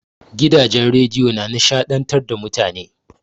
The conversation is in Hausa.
Gidajen rediyo na nishaɗantar da mutane.